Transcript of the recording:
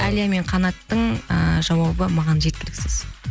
әлия мен қанаттың ыыы жауабы маған жеткіліксіз